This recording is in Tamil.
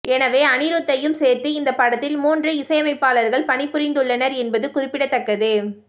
எனவே அனிருத்தையும் சேர்த்து இந்த படத்தில் மூன்று இசையமைப்பாளர்கள் பணிபுரிந்துள்ளனர் என்பது குறிப்பிடத்தக்கது